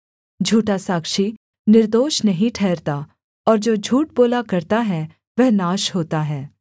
झूठा साक्षी निर्दोष नहीं ठहरता और जो झूठ बोला करता है वह नाश होता है